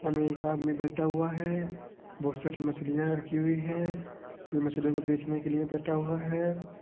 इ में एक आदमी बैठा हुआ है बहुत साडी मछलिया राखी हुई है ये मछलियों को बेचने के लिए बैठा हुआ है।